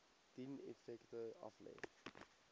dien effekte aflê